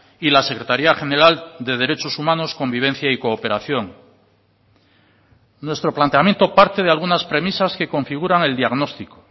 y la secretaria general de derechos humanos convivencia y cooperación nuestro planteamiento parte de algunas premisas que configuran el diagnóstico